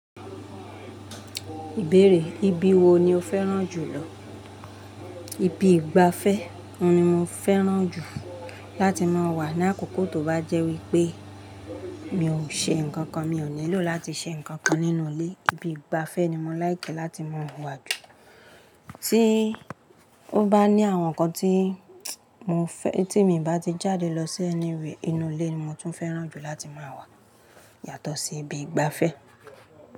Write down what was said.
Ìbéèrè, ibi wo ni o fẹ́ràn jùlọ? Ibi ìgbafẹ́ oun ni mo fẹ́ràn jù láti máa wà. Ní àkókò tó bá jẹ́ wípé mi ò ṣe ǹkan kan, mi ò nílò láti ṣe ǹkan kan nínú ilé, ibi ìgbafẹ́ ni mo like láti máa wà jù. Tí ó bá ní àwọn ǹkan tí mo fẹ́, tí èmi bá ti jáde lọ sí anywhere inú ilé ni mo tún fẹ́ràn jù láti máa wà yàtọ̀ sí ibi ìgbafẹ́